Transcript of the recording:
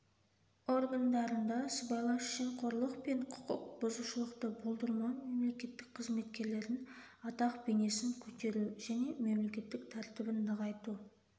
органдарында сыбайлас жемқорлық пен құқық бұзушылықты болдырмау мемлекеттік қызметкерлерлердің атақ-бейнесін көтеру және мемлекеттік тәртібін нығайту